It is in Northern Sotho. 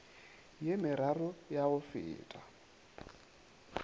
ye meraro ya go feta